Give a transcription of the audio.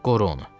Qoru onu.